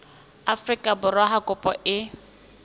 afrika borwa ha kopo e